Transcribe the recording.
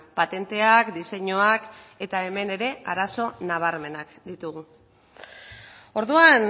patenteak diseinuak eta hemen ere arazo nabarmenak ditugu orduan